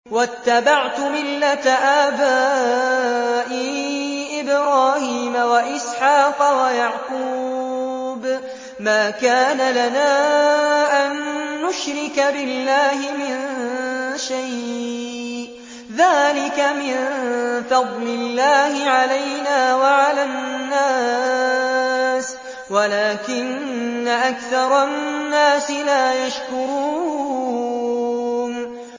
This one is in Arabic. وَاتَّبَعْتُ مِلَّةَ آبَائِي إِبْرَاهِيمَ وَإِسْحَاقَ وَيَعْقُوبَ ۚ مَا كَانَ لَنَا أَن نُّشْرِكَ بِاللَّهِ مِن شَيْءٍ ۚ ذَٰلِكَ مِن فَضْلِ اللَّهِ عَلَيْنَا وَعَلَى النَّاسِ وَلَٰكِنَّ أَكْثَرَ النَّاسِ لَا يَشْكُرُونَ